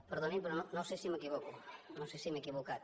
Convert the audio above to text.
perdonin però no sé si m’equivoco no sé si m’he equivocat